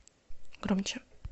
громче